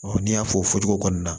n'i y'a fɔ o cogo kɔnɔna na